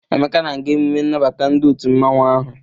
Emeka na-aga emume nnabata ndi otu mmanwu ahu.